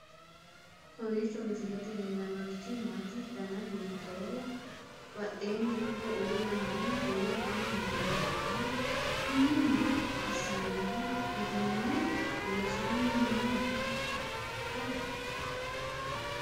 kowiicho misilete leellanorichi maati ? dana hiittooho ?abadhhenni ikko uulla noohu kuulu kuni maa lawannoho? kuni maa assinanniho uduunne loosannohoikka